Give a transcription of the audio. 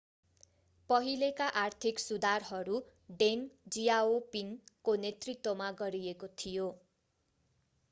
पहिलेका आर्थिक सुधारहरू deng xiaoping को नेतृत्वमा गरिएको थियो